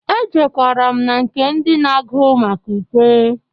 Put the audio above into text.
Ejewkara m na nke ndị na-agụ maka ukwe.